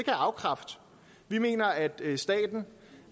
jeg afkræfte vi mener at staten